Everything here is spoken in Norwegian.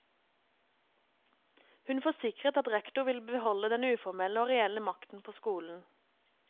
Hun forsikret at rektor vil beholde den uformelle og reelle makten på skolen.